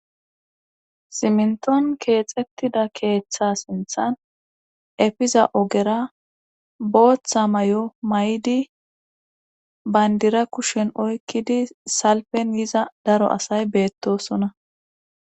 simnton keexettida keeththa sinthan efiza ogera booththa may7o may7di bayndira kushen oykkidi salpen yiza daro asay beettosona